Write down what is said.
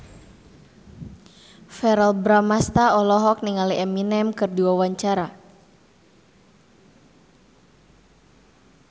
Verrell Bramastra olohok ningali Eminem keur diwawancara